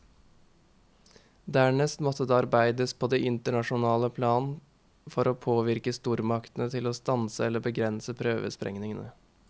Dernest måtte det arbeides på det internasjonale plan for å påvirke stormaktene til å stanse eller begrense prøvesprengningene.